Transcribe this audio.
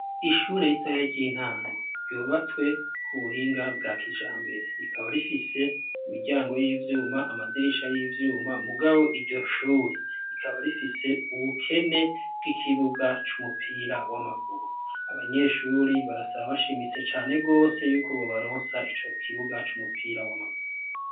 Ishure ritoya ry'intango ryubatswe k'ubuhinga bwa kijambere; rikaba rifise imiryango y'ivyuma amadirisha y'ivyuma; mugabo iryo shuri rikaba rifise ubukene bw'ikibuga c'umupira w'amaguru. Abanyeshuri barasaba bashimitse cane rwose yuko bobaronsa ico kibuga c'umupira w'amaguru.